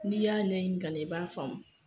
N'i y'a ɲini ka ɲɛ i b'a faamu.